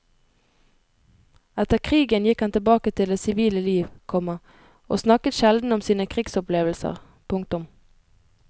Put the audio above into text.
Etter krigen gikk han tilbake til det sivile liv, komma og snakket sjelden om sine krigsopplevelser. punktum